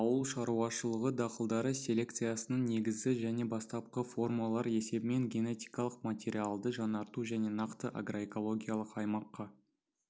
ауыл шаруашылығы дақылдары селекциясының негізі жаңа бастапқы формалар есебімен генетикалық материалды жаңарту және нақты агроэкологиялық аймаққа